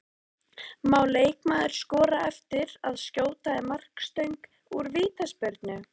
Má leikmaður skora eftir að skjóta í markstöng úr vítaspyrnu?